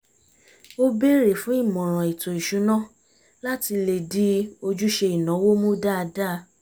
ó bèrè fún ìmọ̀ràn ètò ìṣúná láti lè di ojúṣe ìnáwó mú dáadáa